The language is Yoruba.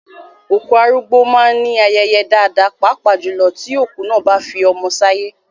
Òkú arúgbó máá ń ní ayẹyẹ dáadáa, pàápàá jùlọ tí òkú náà bá fi ọmọ sáyé